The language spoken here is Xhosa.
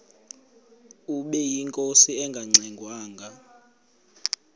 ubeyinkosi engangxe ngwanga